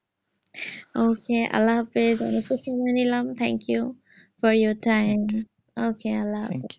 okay আল্লাহ হাফিজ অনেক খুন সময়ে ইলাম thank you for your time okay আল্লাহ হাফিজ